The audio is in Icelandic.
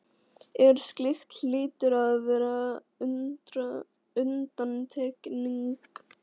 en slíkt hlýtur að vera undantekning.